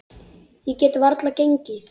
Ég get varla gengið.